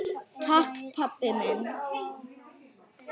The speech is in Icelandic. Takk pabbi minn.